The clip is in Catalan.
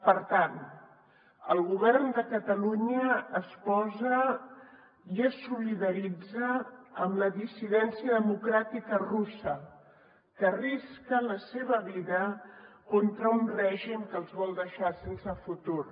per tant el govern de catalunya es solidaritza amb la dissidència democràtica russa que arrisca la seva vida contra un règim que els vol deixar sense futur